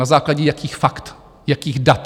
Na základě jakých fakt, jakých dat?